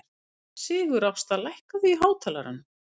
Sigurásta, lækkaðu í hátalaranum.